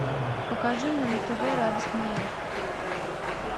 покажи мне на тв радость моя